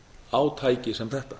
á tæki sem þetta